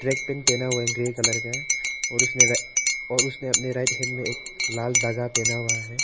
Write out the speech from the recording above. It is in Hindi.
ट्रैक पैंट पहना हुआ है ग्रे कलर का है और उसने और उसने अपने राइट हैण्ड में एक लाल धागा पहना हुआ है।